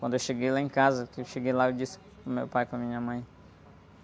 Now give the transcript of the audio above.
Quando eu cheguei lá em casa, que eu lá, eu disse para o meu pai e para minha mãe.